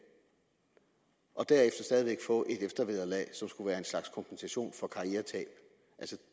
og derefter stadig væk få et eftervederlag som skulle være en slags kompensation for karrieretab